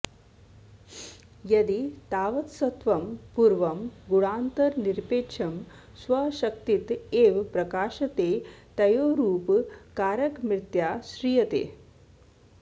यदि तावत्सत्त्वं पूर्वं गुणान्तरनिरपेक्षं स्वशक्तित एव प्रकाशते तयोरुपकारकमित्याश्रीयते